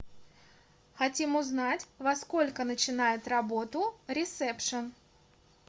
хотим узнать во сколько начинает работу ресепшн